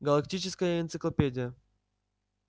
галактическая энциклопедия